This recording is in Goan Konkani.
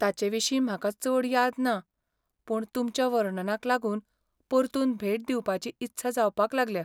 ताचे विशीं म्हाका चड याद ना, पूण तुमच्या वर्णनाक लागून परतून भेट दिवपाची इत्सा जावपाक लागल्या.